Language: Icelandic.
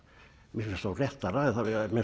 mér finnst þó réttara eða